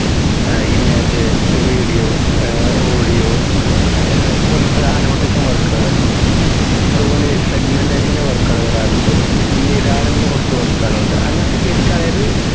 ഏർ image video uh audio uh പോലത്തെ annotation work കൾ അതുപോലെ segmentation ൻറെ work കൾ വരാറുണ്ട് ൻറെ കുറച്ച് work കൾ ഇൻഡ് അങ്ങനത്തെയൊക്കെ എനിക്ക് അതായത്